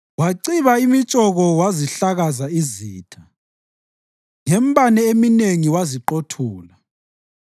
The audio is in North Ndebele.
Waciba imitshoko wazihlakaza izitha, ngembane eminengi waziqothula.